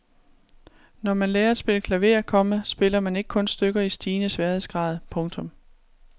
Når man lærer at spille klaver, komma spiller man ikke kun stykker i stigende sværhedsgrad. punktum